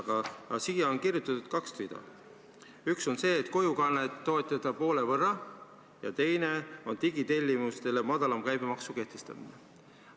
Aga siia on kirjutatud kaks rida: üks on see, et kojukannet toetada poole võrra, ja teine on digitellimustele madalama käibemaksu kehtestamine.